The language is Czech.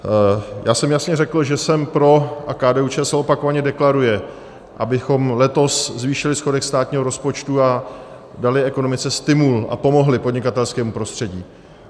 Já jsem jasně řekl, že jsem pro, a KDU-ČSL opakovaně deklaruje, abychom letos zvýšili schodek státního rozpočtu a dali ekonomice stimul a pomohli podnikatelskému prostředí.